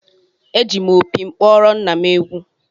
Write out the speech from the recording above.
Eji m opi m kpọrọ nna m egwu